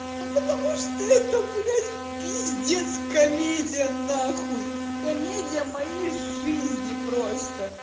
ну потому что это блять пиздец комедия нахуй комедия моей жизни просто